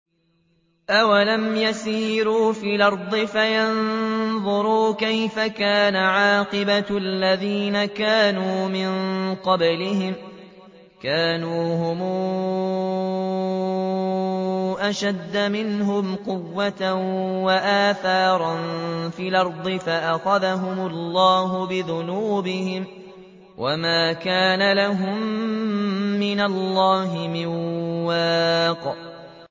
۞ أَوَلَمْ يَسِيرُوا فِي الْأَرْضِ فَيَنظُرُوا كَيْفَ كَانَ عَاقِبَةُ الَّذِينَ كَانُوا مِن قَبْلِهِمْ ۚ كَانُوا هُمْ أَشَدَّ مِنْهُمْ قُوَّةً وَآثَارًا فِي الْأَرْضِ فَأَخَذَهُمُ اللَّهُ بِذُنُوبِهِمْ وَمَا كَانَ لَهُم مِّنَ اللَّهِ مِن وَاقٍ